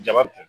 Jabate